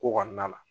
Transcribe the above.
Ko kɔnɔna na